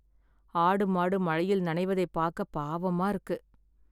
ஆடு மாடு மழையில் நனைவதைப் பாக்க பாவமா இருக்கு